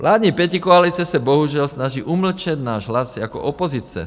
Vládní pětikoalice se bohužel snaží umlčet náš hlas jako opozice.